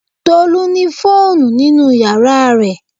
Tolu ni fóònù nínú yàrá rẹ̀